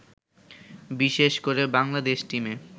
বিশেষ করে বাংলাদেশ টিমে